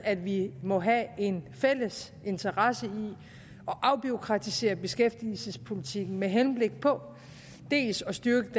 at vi må have en fælles interesse i at afbureaukratisere beskæftigelsespolitikken med henblik på dels at styrke